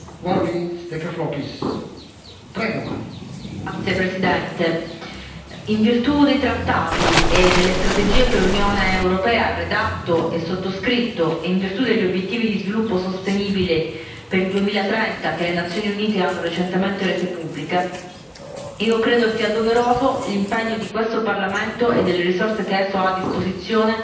Signor Presidente, onorevoli colleghi, in virtù dei trattati e delle strategie che l'Unione europea ha redatto e sottoscritto e in virtù degli obiettivi di sviluppo sostenibile per il 2030 che le Nazioni Unite hanno recentemente reso pubblici, io credo sia doveroso l'impegno di questo Parlamento e delle risorse che esso ha a disposizione